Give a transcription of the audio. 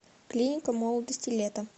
клиника молодости лето